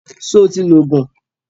Sọ ti lo Ògùn?